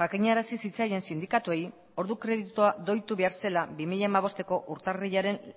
jakinarazi zitzaien sindikatuei ordu kreditua doitu behar zela bi mila hamabosteko urtarrilaren